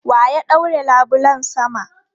Wa ya ɗaure labulen sama?